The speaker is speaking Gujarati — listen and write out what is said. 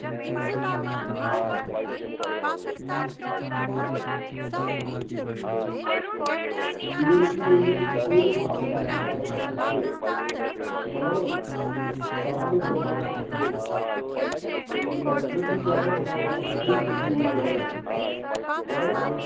તેર થી લયીને સોડ માર્ચ સુધી ચાલવા નો છે. બરાબર. ડાંગ દરબાર નો મેળો. એગ્ઝીટ લી ક્યારે મનાવા માં આવે છે? કઈ થી હોય ત્યારે. બરાબર